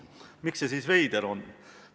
Miks see siis veider on?